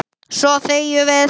Svo þegjum við.